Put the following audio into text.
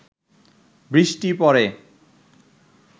বৃষ্টি পড়ে